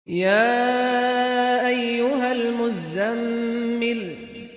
يَا أَيُّهَا الْمُزَّمِّلُ